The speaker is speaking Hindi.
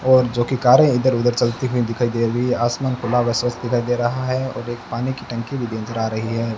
और जो कि कारें इधर उधर चलती हुई दिखाई दे रही है आसमान खुला हुआ स्वस्थ दिखाई दे रहा है और एक पानी की टंकी भी नज़र आ रही है।